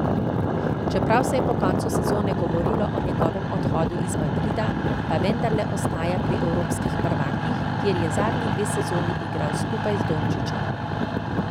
Čeprav se je po koncu sezone govorilo o njegovem odhodu iz Madrida, pa vendarle ostaja pri evropskih prvakih, kjer je zadnji dve sezoni igral skupaj z Dončićem.